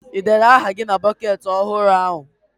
Ị dere aha gị na bọketị ọhụrụ ahụ?